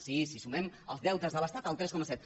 sí si sumem els deutes de l’estat el tres coma set